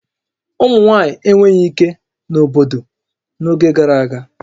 Ụmụ nwaanyị enweghị ike na obodo n'oge gara aga